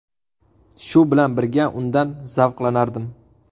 Shu bilan birga undan zavqlanardim.